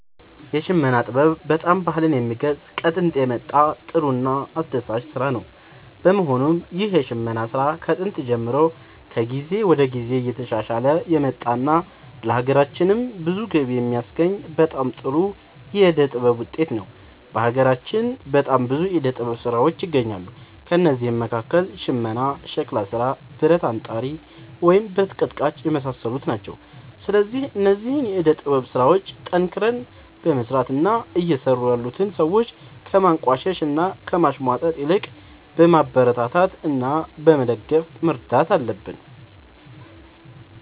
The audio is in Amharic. የሽመና ጥበብ በጣም ባህልን የሚገልፅ ከጦንት የመጣ ጥሩ እና አስደሳች ስራ ነው በመሆኑም ይህ የሽመና ስራ ከጥንት ጀምሮ ከጊዜ ወደ ጊዜ እየተሻሻለ የመጣ እና ለሀገራችንም ብዙ ገቢ የሚያስገኝ በጣም ጥሩ የዕደ ጥበብ ውጤት ነው። በሀገራችን በጣም ብዙ የዕደ ጥበብ ስራዎች ይገኛሉ ከእነዚህም መካከል ሽመና ሸክላ ስራ ብረት አንጣሪ ወይም ብረት ቀጥቃጭ የመሳሰሉት ናቸው። ስለዚህ እነዚህን የዕደ ጥበብ ስራዎች ጠንክረን በመስራት እና እየሰሩ ያሉትን ሰዎች ከማንቋሸሽ እና ከማሽሟጠጥ ይልቅ በማበረታታት እና በመደገፍ መርዳት አለብን